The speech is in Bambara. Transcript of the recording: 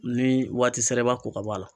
Ni waati sera e b'a ko ka bɔ a la